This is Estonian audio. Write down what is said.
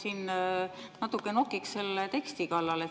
Ma siin natuke nokiks selle teksti kallal.